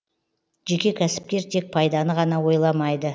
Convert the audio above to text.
жеке кәсіпкер тек пайданы ғана ойламайды